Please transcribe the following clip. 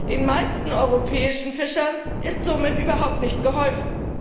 Den meisten europäischen Fischern ist somit überhaupt nicht geholfen.